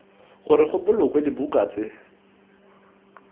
gore go bolokwe dibuka tse